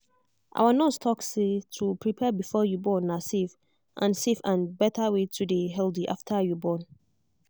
our nurse talk say to prepare before you born na safe and safe and better way to day healthy after you born.